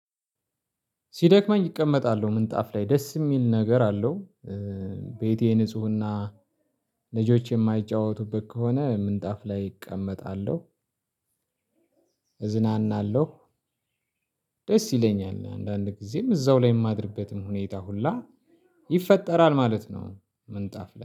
ሲደክመኝ እቀመጣለሁ። ምንጣፍ ላይ ደስ የሚል ነገር አለው። ቤቴ ንፁህና ልጆች የማይጫወቱበት ከሆነ ምንጣፍ ላይ እቀመጣለሁ። እዝናናለሁ። ደስ ይለኛል። አንዳንድ ጊዜም እዛው ላይ የማድርበትም ሁኔታ ሁላ ይፈጠራል ማለት ነው። ምንጣፍ